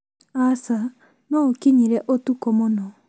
Aca, no ũkinyire ũtukũ mũno